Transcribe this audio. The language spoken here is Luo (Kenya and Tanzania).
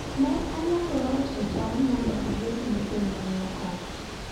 ne anyagora uso cham mondo ager ni jonyuolna ot